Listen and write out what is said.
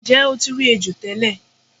Nje o ti ri ejo tele